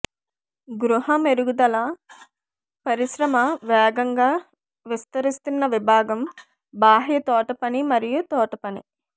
గృహ మెరుగుదల పరిశ్రమ వేగంగా విస్తరిస్తున్న విభాగం బాహ్య తోటపని మరియు తోటపని